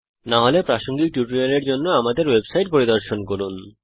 না হলে প্রাসঙ্গিক টিউটোরিয়ালের জন্য আমাদের ওয়েবসাইট পরিদর্শন করুন